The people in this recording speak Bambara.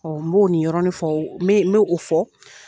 Ɔ n b'o ni yɔrɔni fɔ n bɛ n bɛ o fɔ